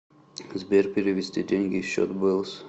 сбер перевести деньги счет бэлс